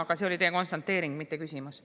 Aga see oli teie konstateering, mitte küsimus.